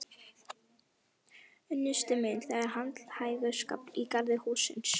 Unnusti minn, það er handhægur skafl í garði hússins.